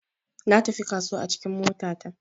Natafi kasuwa a cikin mota ta.